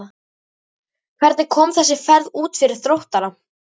Hvernig kom þessi ferð út fyrir Þróttara?